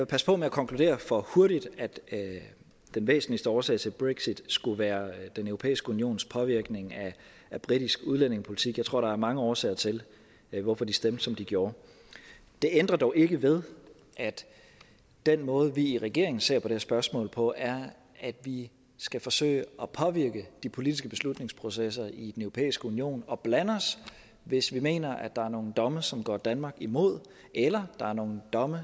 passe på med at konkludere for hurtigt at den væsentligste årsag til brexit skulle være den europæiske unions påvirkning af britisk udlændingepolitik jeg tror der er mange årsager til hvorfor de stemte som de gjorde det ændrer dog ikke ved at den måde vi i regeringen ser på det her spørgsmål på er at vi skal forsøge at påvirke de politiske beslutningsprocesser i europæiske union og blande os hvis vi mener at der er nogle domme som går danmark imod eller der er nogle domme